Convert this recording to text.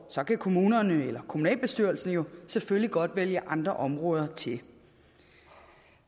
kan kommunerne eller kommunalbestyrelsen jo selvfølgelig godt vælge andre områder til